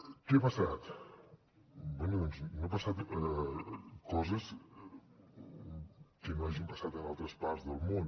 què ha passat bé doncs no han passat coses que no hagin passat en altres parts del món